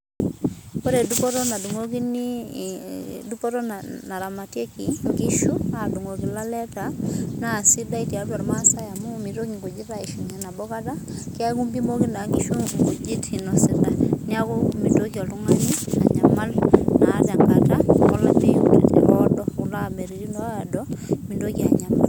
Ore dupoto nadung'okini dupoto naramatieki inkishu adung'oki ilaleta, na sidai tiatua irmaasai amu mitoki nkujit aishunye nabo kata, keku mpimaki naa nkishu inkujit inosita. Neeku mintoki oltung'ani anyamal naa tenkata olameyu oodo, kula ameyuni oodo mintoki anyamal.